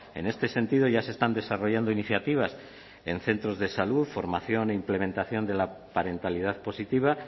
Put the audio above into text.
en este sentido ya se están desarrollando iniciativas en centros de salud formación e implementación de la parentalidad positiva